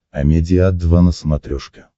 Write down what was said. амедиа два на смотрешке